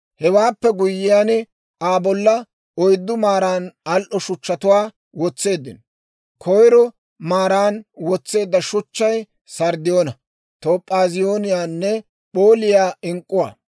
Hewaappe guyyiyaan Aa bolla oyddu maaran al"o shuchchatuwaa wotseeddino; koyro maaran wotseedda shuchchay, sarddiyoona, toop'aaziyooniyaanne p'ooliyaa ink'k'uwaa;